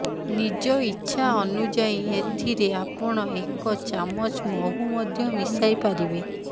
ନିଜ ଇଚ୍ଛା ଅନୁଯାୟୀ ଏଥିରେ ଆପଣ ଏକ ଚାମଚ ମହୁ ମଧ୍ୟ ମିଶାଇ ପାରିବେ